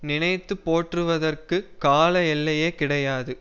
நினைத்து போற்றுவதற்குக் கால எல்லையே கிடையாது